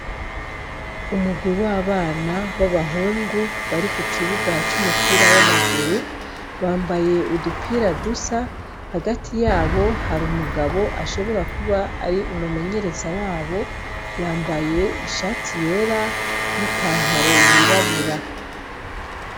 Umugwi w' abana wabahungu barikukibuga c' umupira w' amaguru bambaye udupira dusa hagati yabo hari umugabo ashobora kuba ari umumenyereza wabo yambaye ishati yera n' ipantaro yirabura